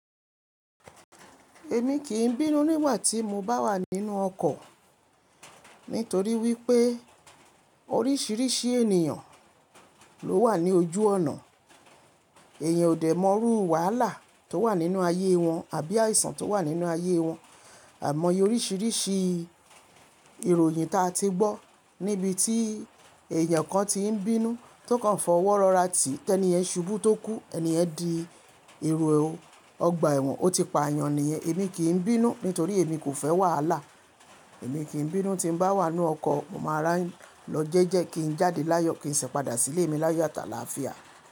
Èmi kì í bínú nígbà tí mo bá wà nínú ọkọ̀ nítorí wípé oríṣiríṣi ènìyàn ló wà ní ojú ọ̀nà. Èèyàn ò dé mọrú wàhálà tó wà nínú ayé wọn àbí àìsàn tó wà nínú ayé wọn. Àimọye oríṣiríṣi ìròyìn ta ti gbọ́ níbi tí èèyàn kan ti ń bínú tó kan fọwọ́ rọ́ra tì, tẹ́ni yen ṣubú tó kú, ẹni ẹ́ di èrò ọgbà ẹ̀wọ̀n, ó ti pa èyàn nìyẹn. Èmi kì n bínú nítorí èmi kò fẹ́ wàhálà. Èmi kì í bínú tí bá wà nínú ọkọ̀, mo máa rà n lọ jẹ́jẹ́ kí n jáde láyọ̀ kí n sẹ pàdà sílé mi láyọ̀ atàlááfíà.